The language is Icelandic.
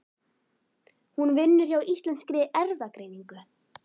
Hún vinnur hjá Íslenskri erfðagreiningu.